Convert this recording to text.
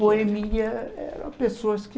Boemia eram pessoas que